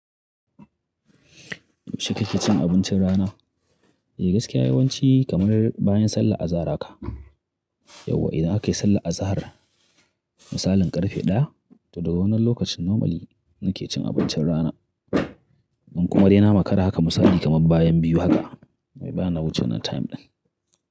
Yaushe kake cin abincin rana? Eh gaskiya yawanci kamar bayan sallahr azahar ka. Yauwa idan aka yi sallar azahar, misalin karfe ɗaya, to daga wannan lokacin normally nake cin abincin rana. In kuma dai na makara haka misali kamar bayan biyu haka, amma ba na wuce wannan time ɗin.